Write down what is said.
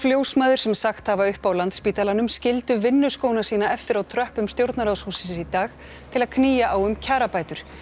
ljósmæður sem sagt hafa upp á Landspítalanum skildu vinnuskóna sína eftir á tröppum stjórnarráðshússins í dag til að knýja á um kjarabætur